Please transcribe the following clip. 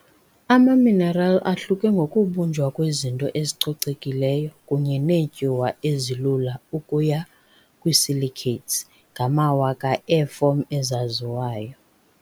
Amaminerali ahluke ngokubunjwa kwezinto ezicocekileyo kunye neetyuwa ezilula ukuya kwi-silicates ngamawaka eefom ezaziwayo.